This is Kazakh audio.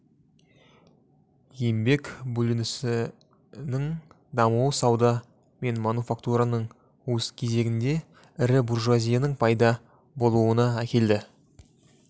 еңбек бөлінісінің дамуы сауда мен мануфактураның өз кезегінде ірі буржуазияның пайда болуына әкеледі